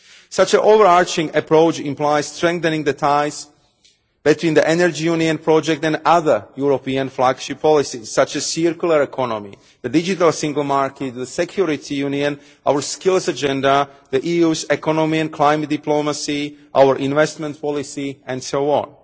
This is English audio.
Such an over arching approach implies strengthening the ties between the Energy Union Project and other European flagship policies, such as the circular economy, the Digital Single Market, the Security Union, our Skills Agenda, the EU's economy and climate diplomacy, our investment policies, and so on.